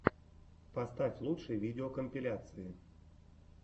поставь лучшие видеокомпиляции